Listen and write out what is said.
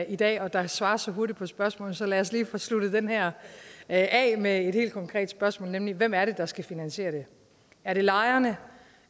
i dag og der svares så hurtigt på spørgsmålene så lad os lige få sluttet den her af med et helt konkret spørgsmål nemlig hvem er det der skal finansiere det er det lejerne